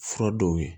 Fura dɔw ye